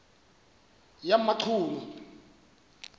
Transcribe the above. yamachunu